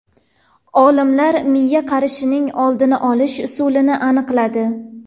Olimlar miya qarishining oldini olish usulini aniqladi.